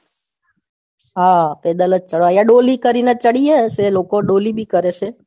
હા પેદલ જ ચાલવાનું ડોલી કરીને ચઢ્યા હશે એ ડોલી બી કરે છે